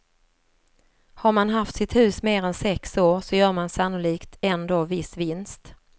Har man haft sitt hus mer än sex år så gör man sannolikt ändå viss vinst.